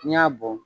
N'i y'a bɔn